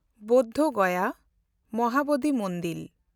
Bodh Gaya (Mahabodhi Mandir)